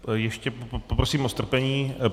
Ještě poprosím o strpení.